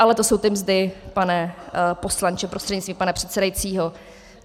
Ale to jsou ty mzdy, pane poslanče prostřednictvím pana předsedajícího.